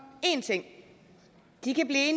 en ting de kan blive